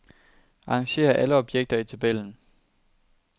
Arrangér alle objekter i tabellen.